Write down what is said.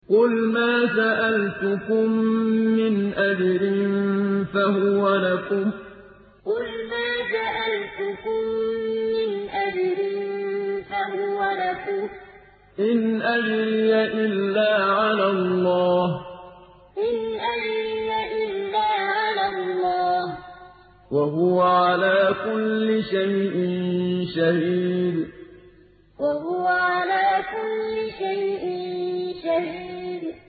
قُلْ مَا سَأَلْتُكُم مِّنْ أَجْرٍ فَهُوَ لَكُمْ ۖ إِنْ أَجْرِيَ إِلَّا عَلَى اللَّهِ ۖ وَهُوَ عَلَىٰ كُلِّ شَيْءٍ شَهِيدٌ قُلْ مَا سَأَلْتُكُم مِّنْ أَجْرٍ فَهُوَ لَكُمْ ۖ إِنْ أَجْرِيَ إِلَّا عَلَى اللَّهِ ۖ وَهُوَ عَلَىٰ كُلِّ شَيْءٍ شَهِيدٌ